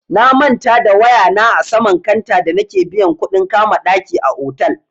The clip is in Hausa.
Na manta da waya na a saman kanta da nake biyan kuɗin kama ɗaki a otal.